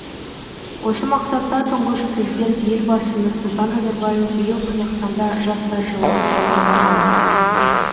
осы мақсатта тұңғыш президент елбасы нұрсұлтан назарбаев биыл қазақстанда жастар жылын жариялаған